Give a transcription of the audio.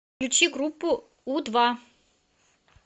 включи группу у два